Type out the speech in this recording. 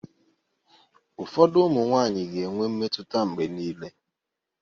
Ụfọdụ ụmụ nwaanyị ga-enwe mmetụta mgbe niile.